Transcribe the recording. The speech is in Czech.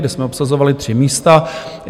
kde jsme obsazovali tři místa.